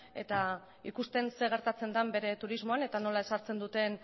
eta ikusten zer gertatzen den bere turismoan eta nola ezartzen duten